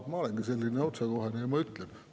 Ma olengi otsekohene ja ma ütlen.